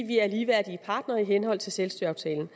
vi er ligeværdige partnere i henhold til selvstyreaftalen